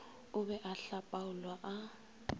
o be a hlapaolwa a